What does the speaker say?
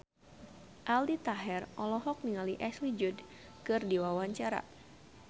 Aldi Taher olohok ningali Ashley Judd keur diwawancara